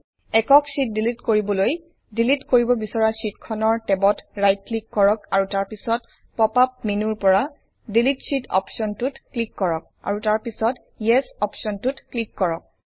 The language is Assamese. একক শ্বিট ডিলিট কৰিবলৈ ডিলিট কৰিব বিছৰা শ্বিটখনৰ টেবত ৰাইট ক্লিক কৰক আৰু তাৰপিছত পঅপ আপ মেনুৰ পৰা ডিলিট শীত অপশ্বনটোত ক্লিক কৰক আৰু তাৰ ৰ্পিছত ইএছ অপশ্বনটোত ক্লিক কৰক